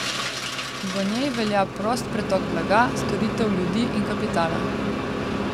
V njej velja prost pretok blaga, storitev, ljudi in kapitala.